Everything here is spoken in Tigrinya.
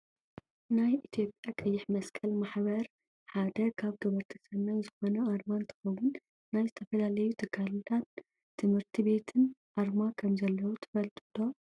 ናይ ኢትዮጵያ ቀይሕ መስቀል ማሕበር ሓደ ካብ ገበርቲ ሰናይ ዝኮነ ኣርማ እንትከውን ናይ ዝተፈላለዩ ትካላትን ትምህርቲ ቤትን ኣርማ ከምዘለዉ ትፈልጡ ዶ?